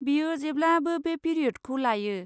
बियो जेब्लाबो बे पिरियदखौ लायो।